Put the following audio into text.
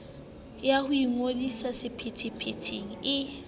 ya ho ingodisetsa sephethephethe e